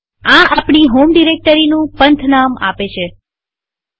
આ આપણી હોમ ડિરેક્ટરીનું પંથનામપાથનેમ આપે છે